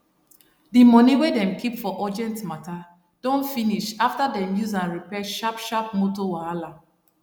d money wey dem keep for urgent matta don finish afta dem use am repair sharp sharp motor wahala